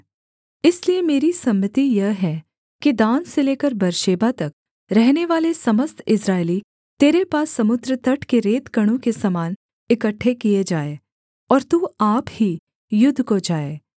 इसलिए मेरी सम्मति यह है कि दान से लेकर बेर्शेबा तक रहनेवाले समस्त इस्राएली तेरे पास समुद्र तट के रेतकणों के समान इकट्ठे किए जाएँ और तू आप ही युद्ध को जाए